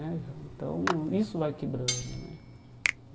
Né Então, isso vai quebrando né.